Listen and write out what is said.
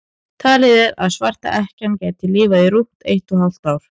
talið er að svarta ekkjan geti lifað í rúmt eitt og hálft ár